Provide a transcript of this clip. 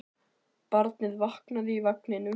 Barnið vaknaði í vagninum.